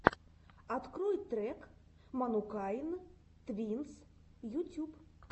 открой трек манукайн твинс ютюб